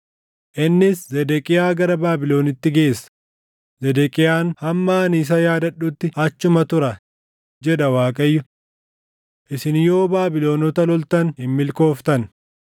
Innis Zedeqiyaa gara Baabilonitti geessa; Zedeqiyaan hamma ani isa Yaadadhutti achuma tura, jedha Waaqayyo. Isin yoo Baabilonota loltan hin milkooftan.’ ”